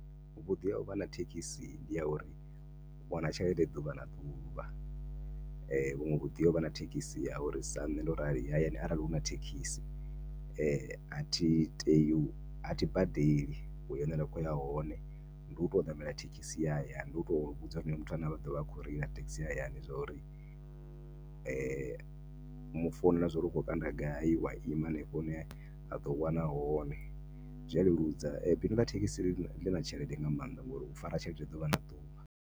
Vhuḓi ha uvha na thekhisi ndi ha uri u wana tshelede ḓuvha na ḓuvha , vhuṅwe vhuḓi ha uvha na thekhisi ndi ha uri sa nṋe ndo rali hayani arali huna thekhisi athi tei, athi badeli uya hune nda khoya hone ndi uto ṋamela thekhisi ya hayani, ndi uto vhudza honoyo muthu ane aḓovha a kho reila zwa uri mu founela zwa uri ukho kanda gai wa ima hanefho hune aḓo u wana hone zwia leludza bindu ḽa thekhisi ḽana tshelede nga maanḓa u fara tshelede ḓuvha na ḓuvha.